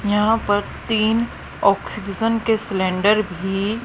यहां पर तीन ऑक्सीजन के सिलेंडर भी--